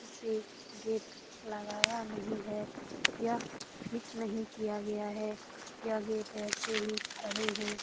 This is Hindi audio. से गेट लगाया नहीं है। यह फिट नहीं किया गया है। यह गेट ऐसे ही खड़े हैं।